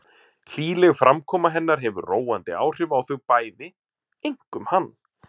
Hlýleg framkoma hennar hefur róandi áhrif á þau bæði, einkum hann.